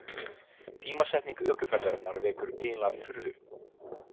Tímasetning ökuferðarinnar vekur eiginlega furðu.